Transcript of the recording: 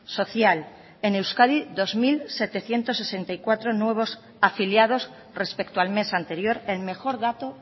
social en euskadi dos mil setecientos sesenta y cuatro nuevos afiliados respecto al mes anterior el mejor dato